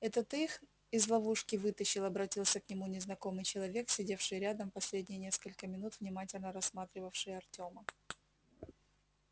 это ты их из ловушки вытащил обратился к нему незнакомый человек сидевший рядом и последние несколько минут внимательно рассматривавший артема